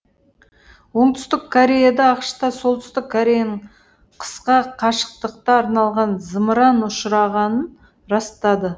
оңтүстік кореяда ақш та солтүстік кореяның қысқа қашықтыққа арналған зымыран ұшырағанын растады